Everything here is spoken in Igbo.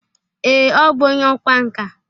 Ee, ọ bụ onye ọkwa nka.